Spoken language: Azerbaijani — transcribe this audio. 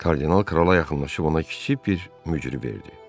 Kardinal krala yaxınlaşıb ona kiçik bir mücrü verdi.